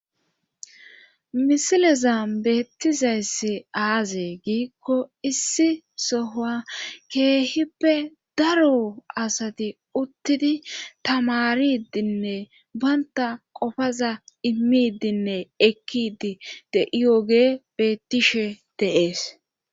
misileza beettizayssi aaze giikko issi soha keehippe daro asati uttidi tamaridinne baynta qofaza immidinne ekkidi de'iyoge bettishe de'ees